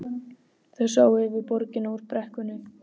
Þau sáu yfir borgina úr brekkunni.